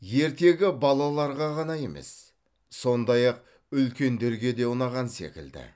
ертегі балаларға ғана емес сондай ақ үлкендерге де ұнаған секілді